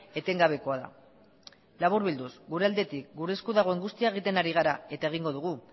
etengabekoa da laburbilduz gure aldetik gure esku dagoen guztia egiten ari gara eta egingo dugu